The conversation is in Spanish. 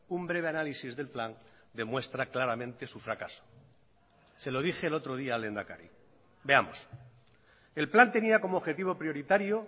un breve análisis del plan demuestra claramente su fracaso se lo dije el otro día al lehendakari veamos el plan tenía como objetivo prioritario